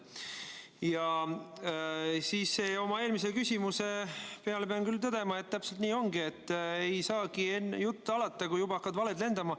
Ja oma eelmise küsimuse peale pean küll tõdema, et täpselt nii ongi: ei saagi veel jutt alata, kui juba hakkavad valed lendama.